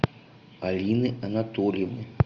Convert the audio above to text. алины анатольевны